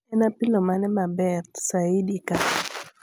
en apilo mane maber saidi ka